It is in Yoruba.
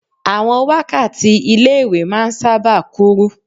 Àwọn wákàtí ilé ìwé máa ń sáábà kúrú.